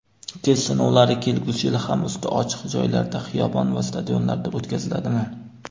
Test sinovlari kelgusi yil ham usti ochiq joylarda —xiyobon va stadionlarda o‘tkaziladimi?.